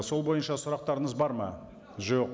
сол бойынша сұрақтарыңыз бар ма жоқ